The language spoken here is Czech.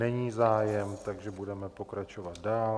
Není zájem, takže budeme pokračovat dál.